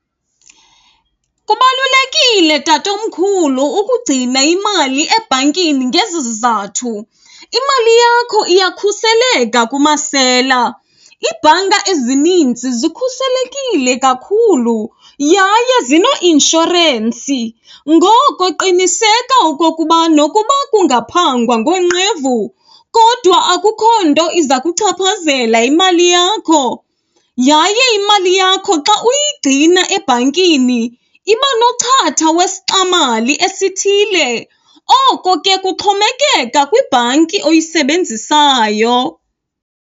Kubalulekile tatomkhulu ukugcina imali ebhankini ngezi zizathu. Imali yakho iyakhuseleka kumasela, iibhanka ezininzi zikhuselekile kakhulu yaye zineeinshorensi. Ngoko qiniseka okokuba nokuba kungaphangwa ngonqevu kodwa akukho nto iza kuchaphazela imali yakho. Yaye imali yakho xa uyigcina ebhankini iba nochatha wesixamali esithile, oko ke kuxhomekeka kwibhanki oyisebenzisayo.